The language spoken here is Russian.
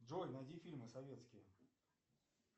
джой найди фильмы советские